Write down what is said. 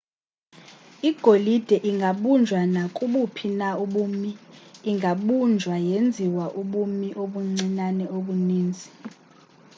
igolide ingabunjwa nakubuphi na ubumi ingabunjwa yenziwa ubumi obuncinane obuninzi